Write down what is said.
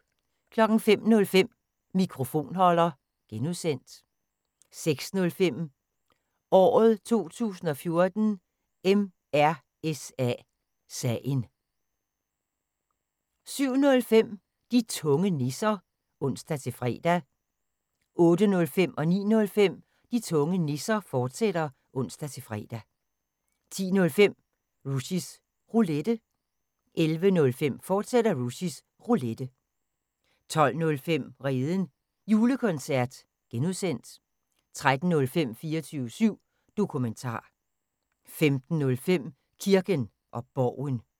05:05: Mikrofonholder (G) 06:05: Året 2014: MRSA sagen 07:05: De tunge nisser (ons-fre) 08:05: De tunge nisser, fortsat (ons-fre) 09:05: De tunge nisser, fortsat (ons-fre) 10:05: Rushys Roulette 11:05: Rushys Roulette, fortsat 12:05: Redens Julekoncert (G) 13:05: 24syv Dokumentar 15:05: Kirken og Borgen